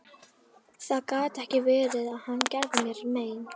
Það gat ekki verið að hann gerði mér mein.